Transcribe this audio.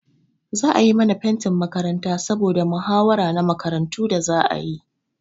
Za a yi mana fentin makaranta saboda mahawara na makarantu da za a yi.